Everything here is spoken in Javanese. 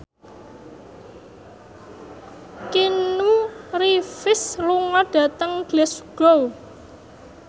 Keanu Reeves lunga dhateng Glasgow